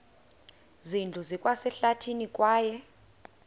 zindlu zikwasehlathini kwaye